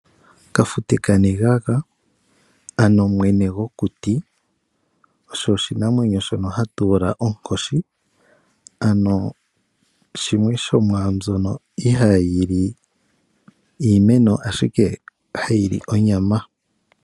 Kafute kanegaga, ano mwene gwokuti, osho oshinamwenyo shono hatu ithana onkoshi. Ano osho shimwe shomwaambyono ihayi li iimeno, ashike ohayi li onyama.